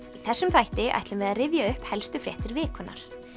þessum þætti ætlum við að rifja upp helstu fréttir vikunnar